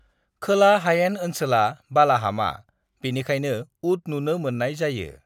"खोला हायेन ओनसोला बालाहामा, बेनिखायनो ऊट नुनो मोन्नाय जायो।"